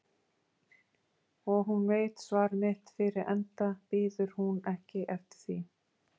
Og hún veit svar mitt fyrir enda bíður hún ekki eftir því.